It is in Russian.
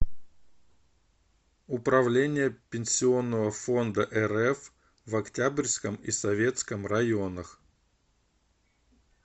управление пенсионного фонда рф в октябрьском и советском районах